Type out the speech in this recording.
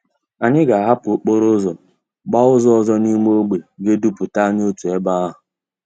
Anyi ga ahapú okporo úzò gbaa úzò òzò di n'ime ogbe ga eduputa anyi otu ebe ahú.